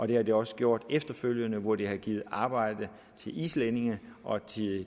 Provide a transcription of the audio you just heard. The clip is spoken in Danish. det har det også gjort efterfølgende hvor det har givet arbejde til islændinge og